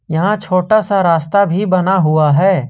यहां छोटा सा रास्ता भी बना हुआ है।